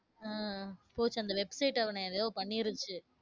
உம் போச்சு அந்த website அவன ஏதோ பண்ணிருச்சு.